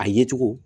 A ye cogo